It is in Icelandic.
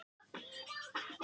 Andríana, hvar er dótið mitt?